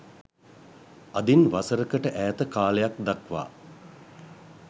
අදින් වසරකට ඈත කාලයක් දක්වා